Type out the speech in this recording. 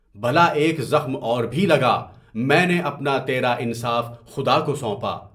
بھلا ایک زخم اور بھی لگا، میں نے اپنا تیرا انصاف خدا کو سونپا۔